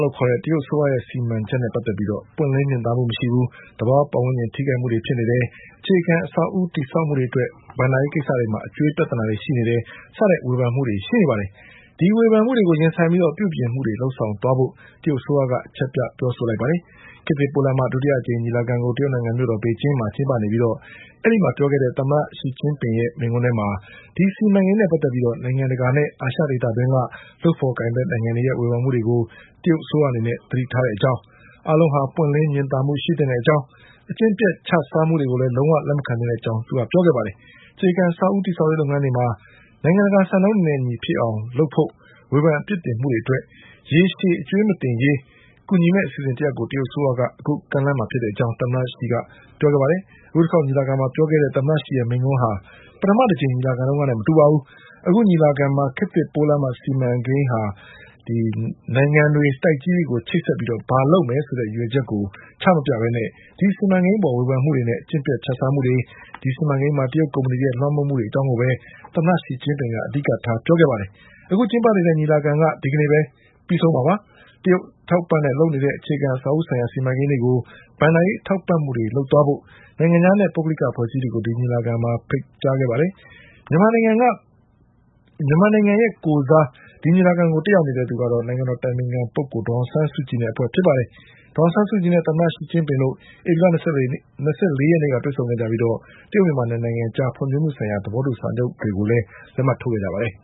လို့ခေါ်တဲ့တရုတ်အစိုးရရဲ့စီမန်ချက်နဲ့ပတ်သက်ပြီး ပွင့်လင်းမြင်သာမှု မရှိဘူး၊ သဘာဝ ပတ်ဝန်းကျင်ထိ ခိုက်မှုတွေရှိတယ်၊ အခြေခံအဆောက်အဦး တည်ဆောက်မှုတွေအတွက် ဘဏ္ဍာရေးကိစ္စ တွေမှာ အကြွေးပြဿနာရှိတယ် စတဲ့ဝေဖန်မှုတွေထွက်ပေါ်နေပါတယ်။ ဒီဝေဖန်မှုတွေကိုရင်ဆိုင်ပြီးပြုပြင်မှုတွေလုပ်သွားဖို့ တရုတ်အစိုးရက အချက်ပြ ပြောဆို လိုက်ပါတယ်။ ခေတ်သစ်ပိုးလမ်းမ ဒုတိယအကြိမ်ညီလာခံကို တရုတ်နိုင်ငံမြို့တော် ပေကျင်းမှာကျင်းပနေပြီး အဲဒီမှာ ပြောခဲ့တဲ့ တရုတ်သမ္မတရှီကျင်းပင်ရဲ့မိန့်ခွန်းထဲမှာ ဒီစီမန်ကိန်းနဲ့ ပတ်သက်ပြီး နိုင်ငံတကာနဲ့ အာရှဒေသတွင်းက လုပ် ဖေါ်ကိုင်ဖက်နိုင်ငံ တွေရဲ့ဝေဖန်မှုတွေကို တရုတ်အစိုးရအနေနဲ့ သတိထားတဲ့အကြောင်း၊ အားလုံးဟာ ပွင့်လင်း မြင်သာ မှုရှိသင့်ကြောင်း၊ အကျင့်ပျက်ချစားမှုတွေကိုလည်း လုံးဝလက်မခံ သင့်ကြောင်း ညပြောဆိုခဲ့ပါတယ်။ အခြေခံအဆောက်အဦး တည်ဆောက်ရေးလုပ်ငန်းတွေမှာ နိုင်ငံတကာစံနှုန်းတွေနဲ့ အညီဖြစ်အောင် လုပ်ဖို့ ဝေဖန်အပြစ်တင်မှုတွေအတွက် ရေရှည် အကြွေးမတင်ရေး ကူညီမယ့်အစီအစဉ်တရပ်ကို တရုတ်အစိုးရက အခုကမ်းလှမ်းမှာဖြစ်ကြောင်း သမ္မတ ရှီကပြောခဲ့ပါတယ်။ အခုတခေါက်ညီလာခံမှာပြောခဲ့တဲ့သမ္မတရှီရဲ့မိန့်ခွန်းက ပထမ အကြိမ်ညီလာခံတုန်းကနဲ့မတူပါဘူး။ အခု ညီလာခံ မှာ ခေတ်သစ်ပိုးလမ်းမ စီမံကိန်းက နိုင်ငံတွေ၊ တိုက်ကြီးတွေကိုချိတ်ဆက်ပြီး ဘာတွေလုပ်မယ်ဆိုတဲ့ ရည်ရွယ်ချက်ကိုချမပြဘဲ ဒီစီမံကိန်းအပေါ်ဝေဖန်မှုတွေနဲ့ အကျင့်ပျက်ချစားမှုတွေ၊ ဒီစီမံကိန်းမှာ တရုတ်ကုမ္ပဏီ တွေရဲ့ လွှမ်းမိုးမှုတွေ အကြောင်းကိုပဲ သမ္မတရှီကျင်းပင် အဓိကထားပြောခဲ့ပါတယ်။ အခုကျင်းပနေတဲ့ညီလာခံက ဒီကနေ့ပဲပြီးဆုံးမှာပါ။ တရုတ်အထောက်အပံ့နဲ့လုပ်နေတဲ့ အခြေခံ အဆောက်အဦး ဆိုင်ရာ စီမံကိန်းတွေကို ဘဏ္ဍာရေးထောက်ပံ့မှုတွေ လုပ်သွားဖို့ နိုင်ငံခြားနဲ့ ပုဂ္ဂလိက အဖွဲ့အစည်းတွေကို ဒီညီလာခံမှာဖိတ်ကြားခဲ့ပါတယ်။ မြန်မာနိုင်ငံကိုယ်စား ဒီညီလာခံ ကိုတက်ရောက်နေတာကတော့ နိုင်ငံတော်အတိုင်ပင်ခံ ဒေါ်အောင်ဆန်း စုကြည်နဲ့ အဖွဲ့ ဖြစ်ပါတယ်။ ဒေါ်အောင်ဆန်းစုကြည်နဲ့ သမ္မတ ရှီကျင်းပင်တို့ ဧပြီလ၂၄ရက်နေ့ကတွေ့ဆုံခဲ့ကြပြီး တရုတ်မြန်မာ၂ နိုင်ငံ အကြား ဖွင့်ဖြိုးမှုဆိုင်ရာ သဘောတူစာချုပ်တွေကိုလက်မှတ်ထိုးခဲ့ကြပါတယ်